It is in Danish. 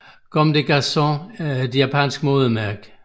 Comme des Garçons er er et japansk modemærke